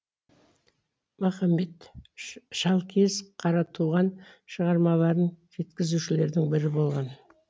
махамбет шалкиіз қаратуған шығармаларын жеткізушілердің бірі болған